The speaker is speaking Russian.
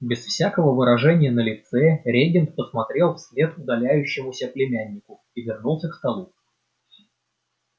без всякого выражения на лице регент посмотрел вслед удаляющемуся племяннику и вернулся к столу